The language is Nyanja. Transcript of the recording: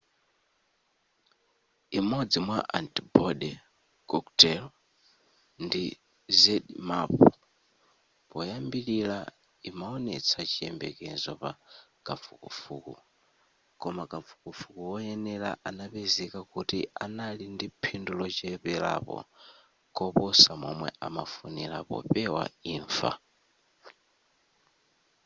imodzi mwa antibody cocktail ndi zmapp poyambilira imawonetsa chiyembekezo pa kafukufuku koma kafukufuku woyenera anapezeka kuti anali ndi phindu locheperako kuposa momwe amafunira popewa imfa